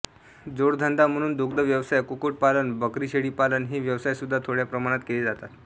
जोडधंदा म्हणून दुग्ध व्यवसाय कुक्कुटपालन बकरीशेळीपालन हे व्यवसायसुद्धा थोड्या प्रमाणात केले जातात